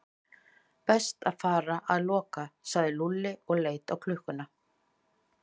Best að fara að loka sagði Lúlli og leit á klukkuna.